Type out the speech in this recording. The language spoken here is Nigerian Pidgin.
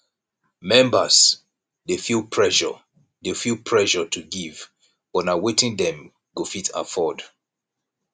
members dey feel pressure dey feel pressure to give but na wetin dem go fit afford